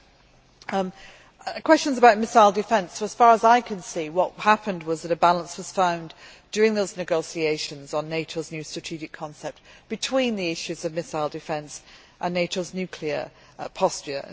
Concerning questions about missile defence, as far as I can see what happened was that a balance was found during those negotiations on NATO's new strategic concept between the issues of missile defence and NATO's nuclear posture.